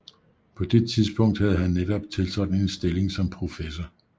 På det tidspunkt havde han netop tiltrådt en stilling som professor